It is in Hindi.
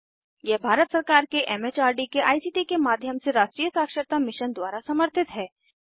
यह भारत सरकार के एमएचआरडी के आईसीटी के माध्यम से राष्ट्रीय साक्षरता मिशन द्वारा समर्थित है